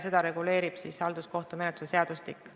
Seda reguleerib siis halduskohtumenetluse seadustik.